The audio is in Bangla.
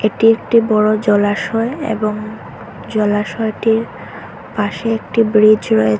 এটি একটি বড় জলাশয় এবং জলাশয়টির পাশে একটি ব্রিজ রয়েছ--